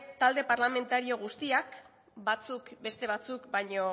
talde parlamentario guztiak batzuk beste batzuk baino